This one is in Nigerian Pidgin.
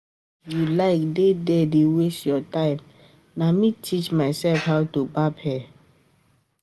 If you like dey there dey waste your time na me teach myself how to barb hair